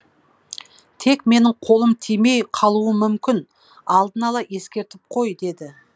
тек менің қолым тимей қалуы мүмкін алдын ала ескертіп қой деді